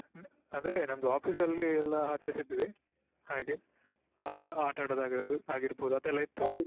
ಹ್ಮ್‌ ಅಂದ್ರೆ ನಮ್ದು Office ಅಲ್ಲಿ ಎಲ್ಲ ಆಚಾರಸಿದ್ವಿ ಹಾಗೆ ಆಟ ಆಟ ಆಡೋದ ಆಗಿರ~ ಆಗಿರಬೋದು ಅದೆಲ್ಲ ಇತ್ತು.